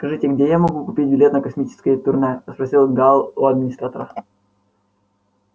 скажите где я могу купить билет на космическое турне спросил гаал у администратора